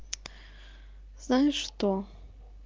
знаешь что